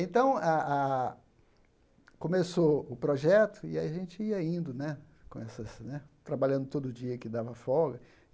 Então, a a a começou o projeto e a gente ia indo né, com essas né trabalhando todo dia que dava folga.